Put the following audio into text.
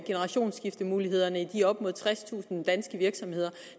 generationsskiftemulighederne i de op mod tredstusind danske virksomheder